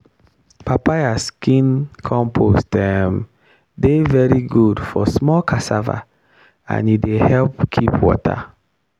papaya skin compost um dey very good for small cassava and e dey help keep water.